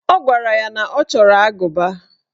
O gwara ya na ọ chọrọ agụba.